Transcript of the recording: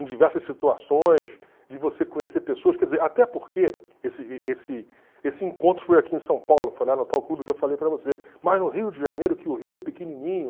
em diversas situações, de você conhecer pessoas, quer dizer, até porque esse esse esse encontro foi aqui em São Paulo, foi lá no tal clube que eu falei para você, mas no Rio de Janeiro, que o Rio é pequenininho.